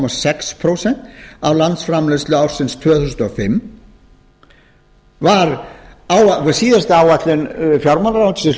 sex prósent af landsframleiðslu ársins tvö þúsund og fimm síðasta áætlun fjármálaráðuneytisins hljóðaði upp á